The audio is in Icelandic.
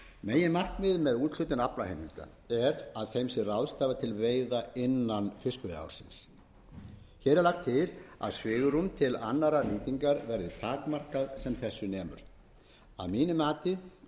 meginmarkmiðið með úthlutun aflaheimilda er að þeim sé ráðstafað til veiða innan fiskveiðiársins hér er lagt til að svigrúm til annarrar nýtingar verði takmarkað sem þessu nemur að mínu mati